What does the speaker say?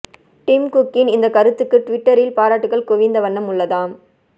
dim குக்கின் இந்த கருத்துக்கு டுவிட்டரில் பாராட்டுக்கள் குவிந்த வண்ணம் உள்ளதாம்